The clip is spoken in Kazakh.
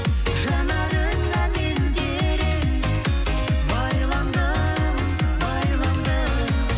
жанарыңа мен терең байландым байландым